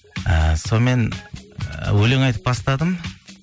і сонымен өлең айтып бастадым